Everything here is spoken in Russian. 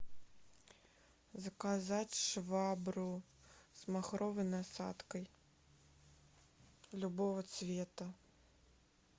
заказать швабру с махровой насадкой любого цвета